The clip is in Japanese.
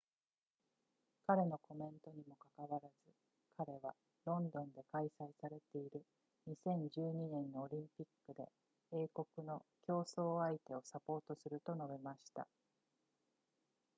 彼のコメントにもかかわらず彼はロンドンで開催されている2012年のオリンピックで英国の競争相手をサポートすると述べました